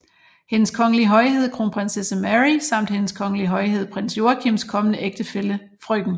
Hendes Kongelige Højhed Kronprinsesse Mary samt Hendes Kongelige Højhed Prins Joachims kommende ægtefælle frk